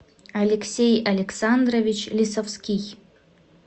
алексей александрович лисовский